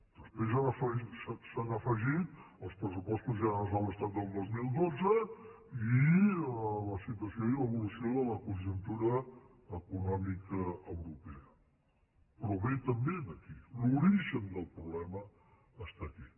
després s’han afegit els pressupostos generals de l’estat del dos mil dotze i la situació i l’evolució de la conjuntura econòmica europea però ve també d’aquí l’origen del problema està aquí